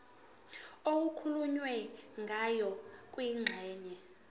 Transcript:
okukhulunywe ngayo kwingxenye